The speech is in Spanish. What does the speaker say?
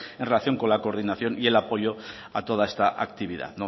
en relación con la coordinación y el apoyo a toda esta actividad